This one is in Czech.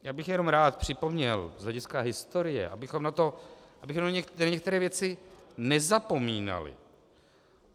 Já bych jenom rád připomněl z hlediska historie, abychom na některé věci nezapomínali.